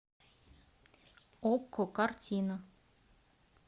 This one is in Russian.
окко картина